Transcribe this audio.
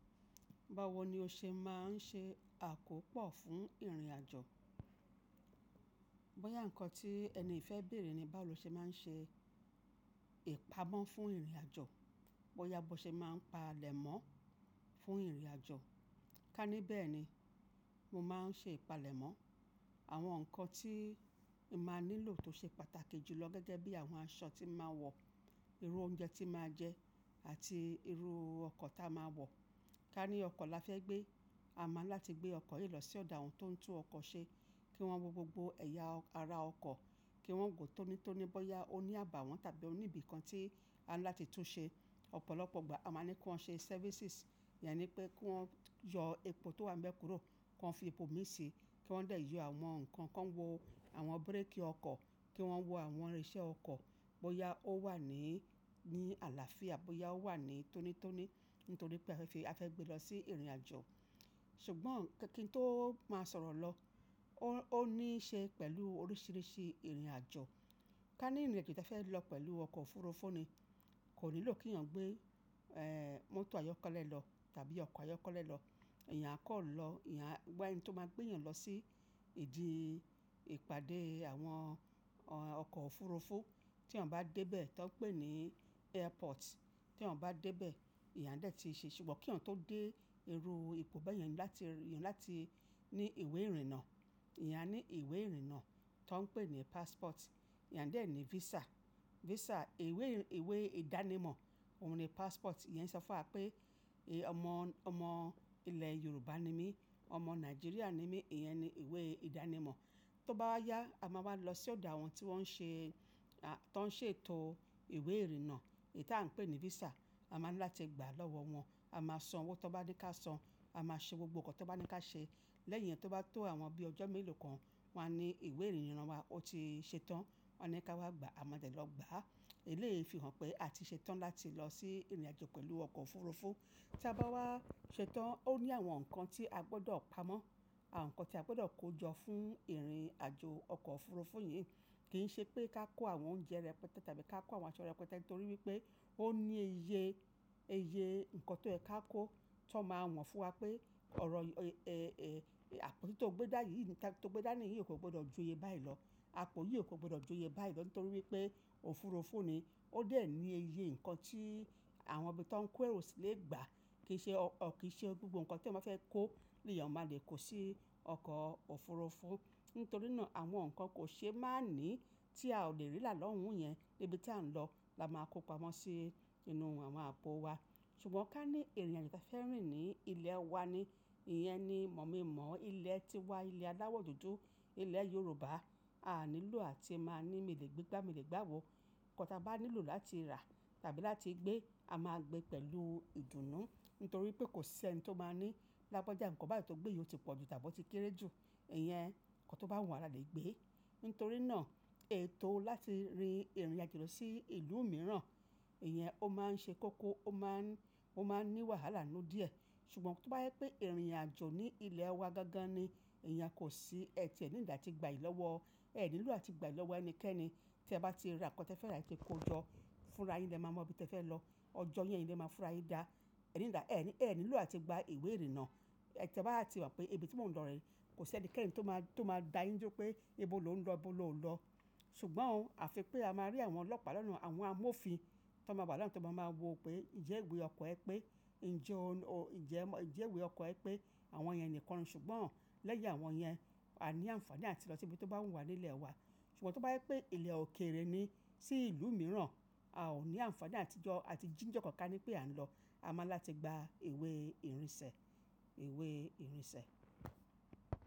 Báwo ni o ṣe máa ń ṣe àkópọ̀ fún ìrìnàjò? Bóyá nǹkan tí ẹni yì fẹ́ béèrè ni báwo lo ṣe máa ń ṣe ìpamọ́ fún ìrìnàjò, bóyá bó ṣe máa ń pa lẹ̀ mọ́ fún ìrìnàjò. Ká ní bẹ́ẹ̀ ni, mo máa ń ṣe ìpalẹ̀mọ́ àwọn nǹkan tí màá nílò tó ṣe pàtàkì jù lọ gẹ́gẹ́ bí àwọn aṣọ tí màá wọ̀, irú oúnjẹ tí màá jẹ àti irú ọkọ̀ táa máa wọ̀. Ká ní ọkọ̀ la fẹ́ gbé, a máa ń láti gbé ọkọ̀ yìí lọ sí ọ̀dà àwọn tó ń tún ọkọ̀ ṣe kí wọ́n wo gbogbo ẹ̀yà ara ọkọ̀, kí wọ́n gùn tónítóní bóyá ó ní àbàwọ́n tàbí ó ní ibìkan tí a ní láti tún ṣe. Ọ̀pọ̀lọpọ̀ ìgbà a máa ní kí wọ́n ṣe services, ìyẹn ni pé kí wọ́n yọ epo tó wà nibe kúrò kí wọ́n fi epo mì í ṣe, kí wọ́n dẹ̀ yọ àwọn nǹkan, kí wọ́n wo àwọn búrékì ọkọ̀, kí wọ́n wo àwọn irinṣẹ́ ọkọ̀ bóyá ó wà ní ní àlàáfíà bóyá ó wà ní tónítóní nítorí pé a fẹ́ fi-- a fẹ́ gbé lọ sí ìrìnàjò. Ṣùgbọ́n kí n tó máa sọ̀rọ̀ lọ, ó ní í ṣe pẹ̀lú oríṣìíríṣìí ìrìnàjò. Ká ní ìrìnàjò tí a fẹ́ lọ pẹ̀lú ọkọ̀ òfurufú ni, kò nílò kí èèyàn gbé, ẹ́ẹ́, mọ́tò ayọ́kọ́lẹ́ lọ tàbí ọkọ̀ ayọ́kọ́lẹ́ lọ. Eeyan a kọ̀ lọ, eeyan a wa ẹni tó máa gbé èèyàn lọ sí ìdí ìpàdé àwọn ọkọ̀ òfurufú tí èèyàn bá dé bẹ́ẹ̀ tó ń pè ní airport. Tí èèyàn bá dé bẹ́ẹ̀, eeyan a dẹ̀ ti ṣe-- ṣùgbọ́n kí èèyàn tó dé, irú ipò bẹ́yen eeyan ní láti, eeyan ni láti ní ìwé ìrìnnà. Eeyan a ní ìwé ìrìnnà tó ń pè ní passport. Eeyan a dẹ̀ ní visa. Visa, ìwé, ìwé ìdánimọ̀ òun ni passport. Ìyẹn ń sọ fún wa pé ọmọ, ọmọ ilẹ̀ Yorùbá ni mí, ọmọ Nàìjíríà ni mí, ìyẹn ni ìwé ìdánimọ̀. Tó bá wa yá, a máa wá lọ sí ọ̀do àwọn tí wọ́n ń ṣe, tó ń ṣe ètò ìwé ìrìnnà èyí tí à ń pè ní visa. A máa ní láti gbà lọ́wọ́ wọn, a máa san owó tó bá ní ká san, a máa ṣe gbogbo nǹkan tó bá ní ká ṣe. Lẹ́yìn yẹn tó bá tó àwọn bíi ọjọ́ mélòó kan, wọ́n á ní ìwé ìrìnnà wa ó ti ṣe tán. Wọ́n a ní ká wá gba, a máa dẹ̀ lọ gba á. Eléèyí fi hàn pé a ti ṣe tán láti lọ sí ìrìnàjò pẹ̀lú ọkọ̀ òfurufú. Tí a bá wá ṣetán, ó ní àwọn nǹkan tí a gbọdọ̀ pamọ́, àwọn nǹkan tí a gbodo kó jọ fún ìrìnàjò ọkọ̀ òfurufú yìí. Kìí ṣe pé ká kó àwọn oúnjẹ rẹpẹtẹ tàbí ká kó àwọn aṣọ rẹpẹtẹ nítorí wipé ó ní iye, iye nǹkan tó ẹ ká kó tó máa wọ̀n fún wa pé ọ̀rọ̀ àpótí tó gbé dàni yìí, tó gbé dà ní yìí ò gbọdọ̀ ju iye báyìí lọ. Àpó yìí ò gbọdọ̀ ju iye báyìí lọ nítorí pé òfurufú ni. Ó dẹ̀ ní iye nǹkan tí àwọn ibi tó ń kó ẹrù sì lè gbà. Kì í ṣe ọ, kì í ṣe gbogbo nǹkan tí ọmọ fẹ́ kó ni èèyàn máa le kó sí ọkọ̀ òfurufú. Nítorínà àwọn nǹkan kò ṣe má ní tí a ò lè rí rà lọ́hùn yẹn níbi tí à ń lọ la máa kó pamọ́ sí inú àwọn àpò wa. Ṣùgbọ́n ká ní ìrìnàjò tí a fẹ́ rìn ní ilẹ̀ wa ni, ìyẹn ni mọ̀ mí mọ̀ ilẹ̀ tíwa, ilẹ̀ alawọ̀ dúdú, ilẹ̀ Yorùbá, a nílò àti máa ní mi lè gbé gbá, mi lè gbá wò. Ǹkan tí a bá nílò láti rà tàbí láti gbé, a máa gbé pẹ̀lú ìdùnnú, nítorí pé kò ṣe ẹni tó máa ní lágbajà nǹkan báyìí tó gbé yìí ó ti pọ̀jù tàbí ó ti kéré jù. Ìyẹn nǹkan tó bá wun wa la lè gbé. Nítorínà ètò láti rin ìrìnàjò lọ sí ìlú mìíràn, ìyẹn ó máa ń ṣe kókó, ó máa ń, ó máa ń ní wàhálà nínú díẹ̀. Ṣùgbọ́n tó bá yé pé ìrìnàjò ní ilẹ̀ wa gangan ni, ẹ̀yàn kò sí, ẹ ti ẹ níidi ati gbà yìí lọ́wọ́, ẹ nílò àti gbà yìí lọ́wọ́ ẹnikẹ́ni tí ẹ bá ti ra nǹkan tí ẹ fẹ́ rà kí ẹ kó jọ fúnra yín lẹ máa mọ ibi tí ẹ fẹ́ lọ. Ọjọ́ yẹn lẹ́ máa fúnra yín dá. Ẹ níìdi, ẹ ní, ẹ nílò àti gba ìwé ìrìnnà. Ẹ bá ti mọ̀ pé ibi tí mò ń lọ rẹ̀ kò sí ẹnikẹ́ni tó máa, tó máa dáa yín jó pé ibo lò ń lọ, bólo ò ń lọ. Ṣùgbọ́n o àfi pé a máa rí àwọn ọlọ́pàá lọ́nà, àwọn amófin tó máa wà lọ́nà tó máa máa wo pé ìjẹ́ ìwé ọkọ̀ ẹ pé, ìjẹ́ o, ìjẹ́ mọ̀, ìjẹ́ ìwé ọkọ̀ ẹ pé àwọn èèyàn nìkan. Ṣùgbọ́n lẹ́yìn àwọn yen, a ní ànfàní àti lọ sí ibi tó bá wùn wá ní ilẹ̀ wa. Ṣùgbọ́n tó bá yé pé ilẹ̀ òkèèrè ni sí ìlú mìíràn, a ò ní ànfàní àti jó, àti jíǹjọ kọ̀ọ̀ká ní pé à ń lọ. A máa ní láti gba ìwé ìrìnsẹ̀, ìwé ìrìnsẹ̀.